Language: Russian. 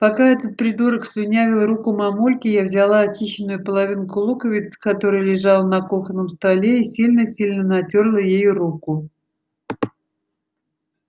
пока этот придурок слюнявил руку мамульке я взяла очищенную половинку луковицы которая лежала на кухонном столе и сильно-сильно натёрла ею руку